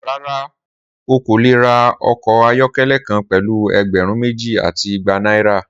Rara, o ko le ra ọkọ ayọkẹlẹ kan pẹlu ẹgbẹrun meji ati igba naira.